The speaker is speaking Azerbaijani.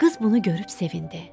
Qız bunu görüb sevindi.